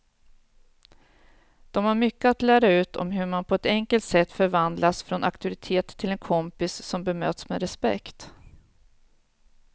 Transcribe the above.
De har mycket att lära ut om hur man på ett enkelt sätt förvandlas från auktoritet till en kompis som bemöts med respekt.